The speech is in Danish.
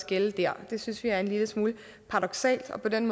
gælde der og det synes vi er en lille smule paradoksalt for på den